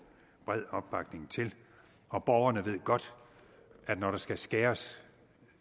bred opbakning til og borgerne ved godt at når der skal skæres